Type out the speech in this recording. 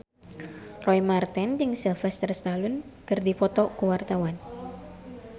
Roy Marten jeung Sylvester Stallone keur dipoto ku wartawan